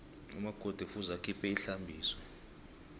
umakoti kufuze akhiphe ihlambiso